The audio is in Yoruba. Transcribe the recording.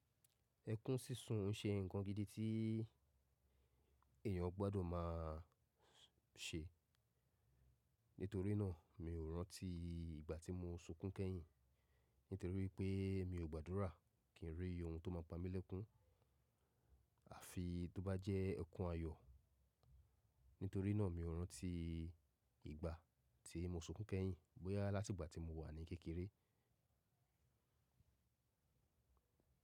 Ẹkún sísun ń ṣe ǹkan gidi tí èèyàn gbọ́dọ̀ máa ṣe. Nítorí náà, mi ò rántí ìgbà tí mo sunkún kẹ́yìn. Nítorí wípé mi ò gbàdúrà kí ń rí ohun tó máa pa mí lẹ́kún, àfi tó bá jẹ́ ẹkún ayọ̀. Nítorí náà mi ò rántí ìgbà tí mo sunkún kẹ́yìn bóyá látìgbà tí mo wà ní kékeré.